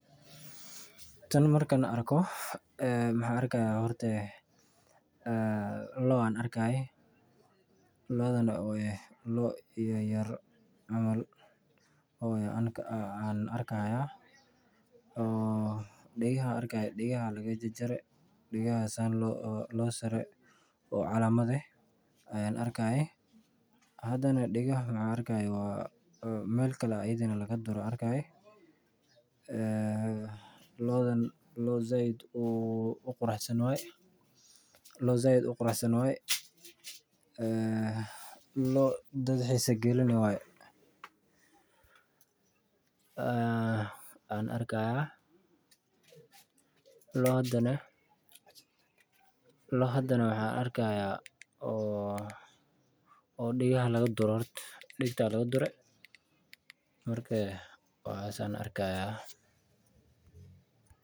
Tan markaan arko waxaan arki haaya loo oo ah mid yar oo aan arki haaya dagaha ayaa laga sare oo calamad ah meel kale ayaa laga dure ayaan arki haaya loo sait uxanuunsan waye mid dadka xiisa galini ayaan arki haaya waxaan arki haaya degta ayaa laga dure waxaas ayaan arki haaya.